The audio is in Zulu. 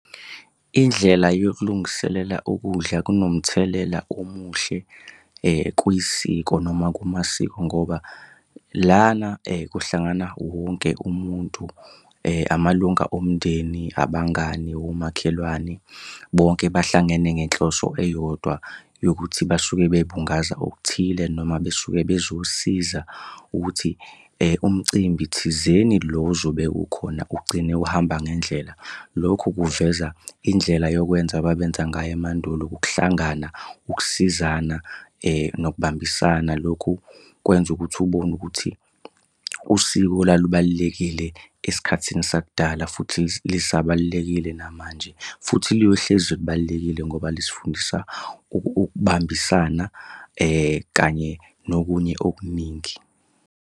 Indlela yokulungiselela ukudla kunomthelela omuhle kuyisiko noma kumasiko ngoba lana kuhlangana wonke umuntu. Amalunga omndeni, abangani, omakhelwane, bonke bahlangene ngenhloso eyodwa yokuthi basuke bebungaza okuthile noma besuke bezosiza ukuthi umcimbi thizeni lo ozobe ukhona ugcine uhamba ngendlela. Lokhu kuveza indlela yokwenza ababenza ngayo emandulo ukuhlangana, ukusizana nokubambisana. Lokhu kwenza ukuthi ubone ukuthi usiko lalubalulekile esikhathini sakudala futhi lisabalulekile namanje, futhi liyohlezi libalulekile ngoba lisifundisa ukubambisana kanye nokunye okuningi khona.